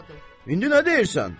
İndi nə deyirsən?